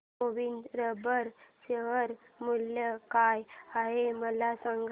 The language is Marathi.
गोविंद रबर शेअर मूल्य काय आहे मला सांगा